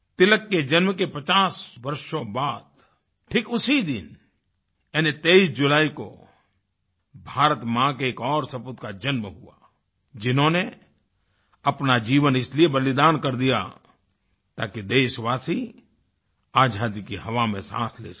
तिलक के जन्म के 50 वर्षों बाद ठीक उसी दिन यानी 23 जुलाई को भारतमाँ के एक और सपूत का जन्म हुआ जिन्होंने अपना जीवन इसलिए बलिदान कर दिया ताकि देशवासी आज़ादी की हवा में साँस ले सके